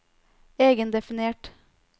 egendefinert